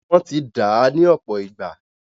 Wọ́n ti dàá ní ọ̀pọ̀ ìgbà.